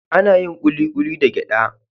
Ana yin kulikuli da gyada.